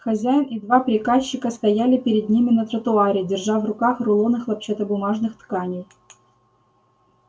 хозяин и два приказчика стояли перед ними на тротуаре держа в руках рулоны хлопчатобумажных тканей